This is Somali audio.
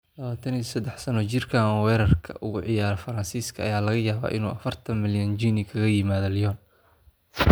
23 sanno jirkaan weerarka uga ciyaara Faransiiska ayaa laga yaabaa inuu 40 milyan ginni kaga yimaado Lyon.